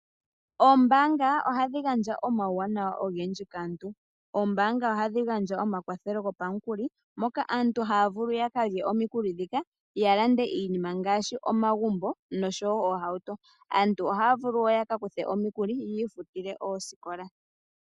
Oombanga ohadhi gandja omauwanawa ogendji kaantu ngaashi omakwathelo gopamukuli moka aantu haya vulu yaka lye omikuli dhika ya lande iinima gaashi omagumbo noshowo oohauto. Aantu ohaya vulu wo ya kakuthe omikuli yiifutile oosikola.